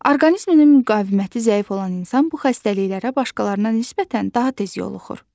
Orqanizminin müqaviməti zəif olan insan bu xəstəliklərə başqalarına nisbətən daha tez yoluxur.